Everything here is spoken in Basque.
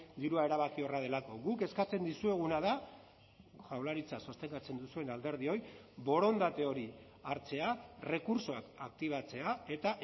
dirua erabakiorra delako guk eskatzen dizueguna da jaurlaritza sostengatzen duzuen alderdioi borondate hori hartzea errekurtsoak aktibatzea eta